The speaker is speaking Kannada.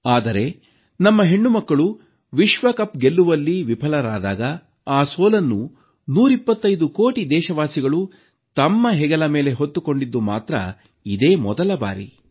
ಆದರೆ ನಮ್ಮ ಹೆಣ್ಣುಮಕ್ಕಳು ವಿಶ್ವಕಪ್ ಗೆಲ್ಲುವಲ್ಲಿ ವಿಫಲರಾದಾಗ ಆ ಸೋಲನ್ನು 125 ಕೋಟಿ ದೇಶವಾಸಿಗಳು ತಮ್ಮ ಹೆಗಲ ಮೇಲೆ ಹೊತ್ತುಕೊಂಡದ್ದು ಮಾತ್ರ ಇದೇ ಮೊದಲ ಬಾರಿ